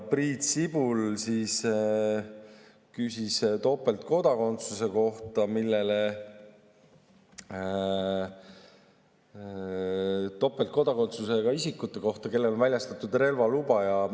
Priit Sibul küsis topeltkodakondsusega isikute kohta, kellele on väljastatud relvaluba.